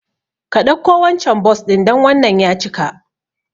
Ka ɗauko wancan Bus ɗin dan wannan ya cika